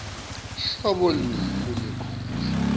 hlobo luni lwebunkondlo